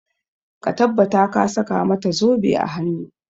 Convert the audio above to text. Ka tabbata ka saka mata zobe a hanu!